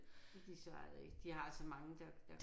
Men de svarede ikke de har så mange der